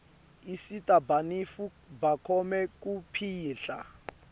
asita banifu bakhone kupihla